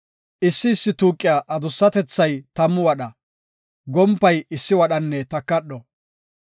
Issi issi tuuqiya adussatethay tammu wadha, gompay issi wadhanne takadho.